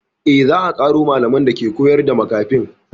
Eh, za a ƙaro malaman dake koyar da makafin